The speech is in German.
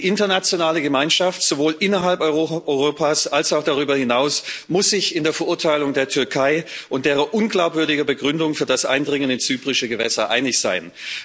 Die internationale Gemeinschaft, sowohl innerhalb Europas als auch darüber hinaus, muss sich in der Verurteilung der Türkei und deren unglaubwürdiger Begründung für das Eindringen in zyprische Gewässer einig sein.